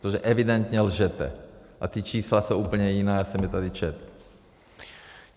Protože evidentně lžete a ta čísla jsou úplně jiná, já jsem je tady četl.